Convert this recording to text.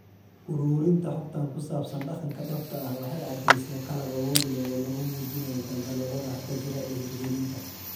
Uruurinta xogtan ku saabsan dhaqanka dhabta ah waxay caddaysay qalab awood leh oo lagu muujinayo daldaloolada hadda jira ee hirgelinta.